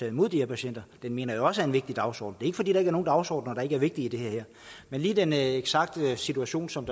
imod de her patienter det mener jeg også er en vigtig dagsorden det er ikke fordi der er nogle dagsordener der ikke er vigtige i det her men lige den eksakte situation som